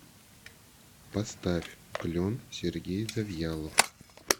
поставь клен сергей завьялов